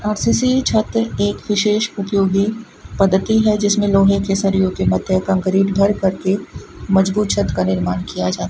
R C C छत एक विशेष उपयोगी पद्धति है जिसमें लोहे के सरियों के मध्य कांक्रीट भर कर के मजबूत छत का निर्माण किया जा --